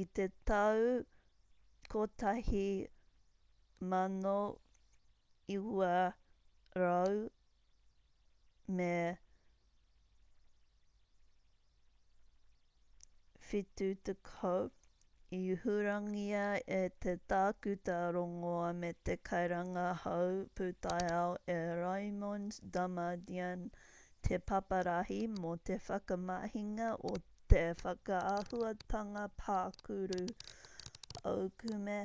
i te tau 1970 i hurangia e te tākuta rongoā me te kairangahau pūtaiao e raymond damadian te paparahi mō te whakamahinga o te whakaahuatanga pākuru aukume